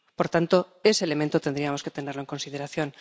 Por tanto, ese elemento tendríamos que tenerlo en consideración.